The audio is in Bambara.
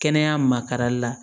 Kɛnɛya makarali la